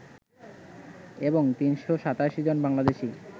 এবং ৩৮৭ জন বাংলাদেশি